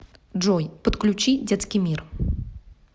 джой подключи детский мир